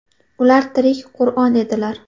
Ular tirik Qur’on edilar.